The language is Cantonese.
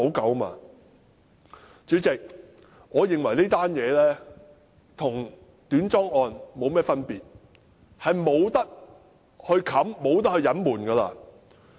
代理主席，我認為此事與短樁事件沒有分別，是不能掩飾和隱瞞的。